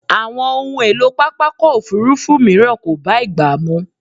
Àwọn ohun èlò pápákọ̀ òfúrúfú mìíràn kò bá ìgbà mu.